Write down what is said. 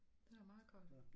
Det er meget godt